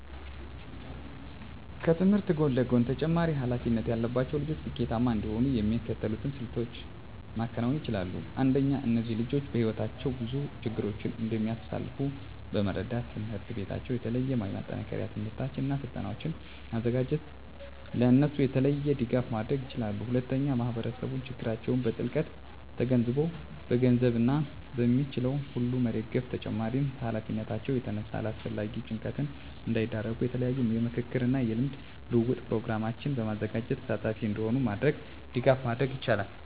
ከትምህርት ጎን ለጎን ተጨማሪ ሀላፊነት ያለባቸው ልጆች ስኬታማ እንዲሆኑ የሚከተሉትን ስልቶች ማከናወን ይቻላል። አንደኛ እነዚህ ልጆች በህይወታቸው ብዙ ችግሮችን እንደሚያሳልፍ በመረዳት ትምሕርት ቤታቸው የተለያዩ የማጠናከሪያ ትምህርቶችን እና ስልጠናዎችን በማዘጋጀት ለእነሱ የተለየ ድጋፍ ማድረግ ይችላል። ሁለተኛ ማህበረሰቡ ችግራቸውን በጥልቀት ተገንዝቦ በገንዘብ እና በሚችለው ሁሉ መደገፍ በተጨማሪም ከሀላፊነታቸው የተነሳ ለአላስፈላጊ ጭንቀት እንዳይዳረጉ የተለያዩ የምክክር እና የልምድ ልውውጥ ፕሮግራሞችን በማዘጋጀት ተሳታፊ እንዲሆኑ በማድረግ ድጋፍ ማድረግ ይቻላል።